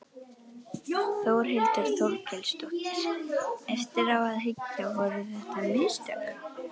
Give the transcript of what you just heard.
Þórhildur Þorkelsdóttir: Eftir á að hyggja, voru þetta mistök?